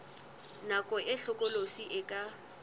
nako e hlokolosi e ka